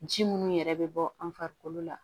Ji munnu yɛrɛ bɛ bɔ an farikolo la